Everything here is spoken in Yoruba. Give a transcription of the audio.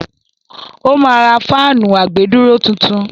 ó ma ra fáànù àgbèdúró tuntun.